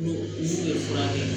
fura kɛ